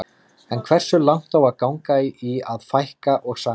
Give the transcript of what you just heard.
En hversu langt á að ganga í að fækka og sameina?